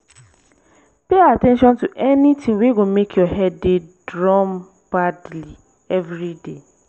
pay at ten tion to anytin wey go mek yur head dey drum badly evriday